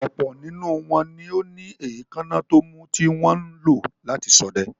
Ọ̀pọ̀ nínú wọn ni ó ní èékánná tómú tí wọn ń lò láti ṣọdẹ.